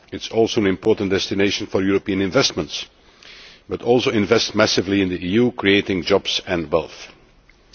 It is also an important destination for European investments, and it also invests massively in the EU, creating jobs and wealth.